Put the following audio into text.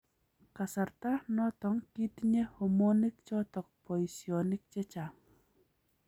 kasarta noto kitinye homoniik choto boisyonik chechaang